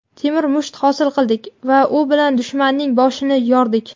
temir musht hosil qildik va u bilan dushmanning boshini yordik.